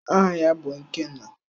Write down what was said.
Aha ya bụ Ikenna.